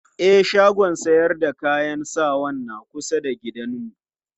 E, shagon sayar da kayan sawan na kusa da gidanmu.